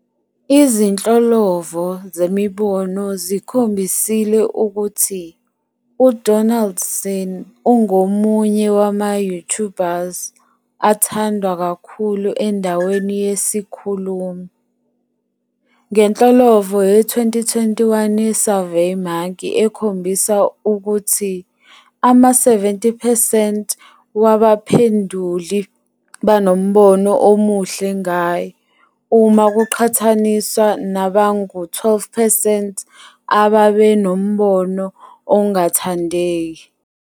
Izinhlolovo zemibono zikhombisile ukuthi uDonaldson ungomunye wama-YouTubers athandwa kakhulu endaweni yesikhulumi ngenhlolovo ye-2021 yeSurveyMonkey ekhombisa ukuthi ama-70 percent wabaphenduli banombono omuhle ngaye, uma kuqhathaniswa nabangu-12 percent ababenombono ongathandeki.